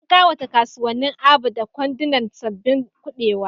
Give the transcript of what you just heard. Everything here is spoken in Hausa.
An kawata kasuwannin Aba da kwandunan sabbin kubewa.